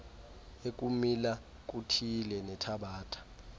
ekumila kuthile nethabatha